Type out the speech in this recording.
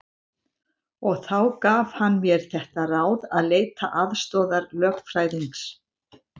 Og þá gaf hann mér þetta ráð að leita aðstoðar lögfræðings.